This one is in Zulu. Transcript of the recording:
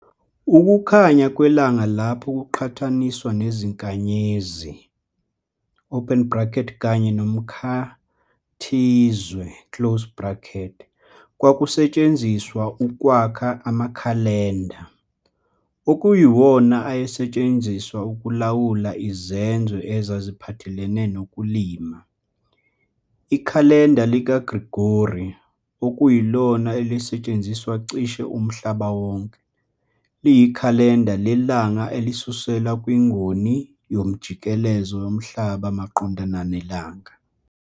Ukunyakaza kwelanga lapho kuqhathaniswa nezinkanyezi, kanye nomkhathizwe, kwakusetshenziswa ukwakha amakhalenda, okuyiwona ayesetshenziswa ukulawula izenzo ezaziphathelene nokulima. Ikhalenda likaGrigori, okuyilona elisetshenziswa cishe umhlaba wonke, liyikhalenda lelanga elisuselwa kwingoni yomjikelezo yomhlaba maqondana nelanga.